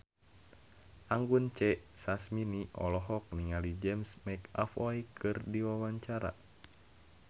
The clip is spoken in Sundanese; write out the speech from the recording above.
Anggun C. Sasmi olohok ningali James McAvoy keur diwawancara